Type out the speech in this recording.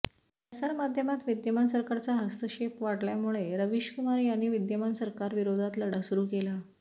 प्रसारमाध्यमांत विद्यमान सरकारचा हस्तक्षेप वाढल्यामुळे रवीशकुमार यांनी विद्यमान सरकार विरोधात लढा सुरू केला